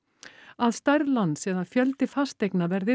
að stærð lands eða fjöldi fasteigna verði